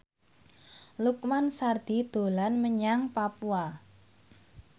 Lukman Sardi dolan menyang Papua